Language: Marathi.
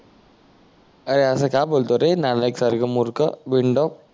ए अस का बोलतोय रे नालाईक सारख मूर्ख बिनडोक